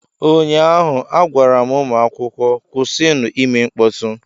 Ụnyaahụ, a gwara m ụmụ akwụkwọ, kwụsịnụ ime mkpọtụ!